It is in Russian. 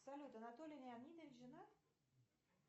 салют анатолий леонидович женат